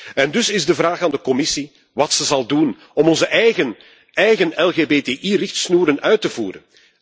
En dus is de vraag aan de Commissie wat ze zal doen om onze eigen LGBTI richtsnoeren uit te voeren.